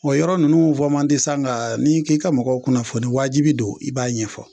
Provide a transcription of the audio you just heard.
O yɔrɔ ninnu fɔ man di sa nka n'i k'i ka mɔgɔw kunnafoni wajibi don i b'a ɲɛfɔ